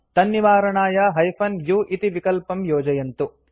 तन्निवारणाय hyphen u इति विकल्पं योजयन्तु